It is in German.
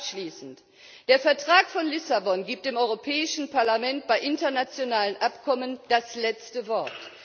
Abschließend Der Vertrag von Lissabon gibt dem Europäischen Parlament bei internationalen Abkommen das letzte Wort.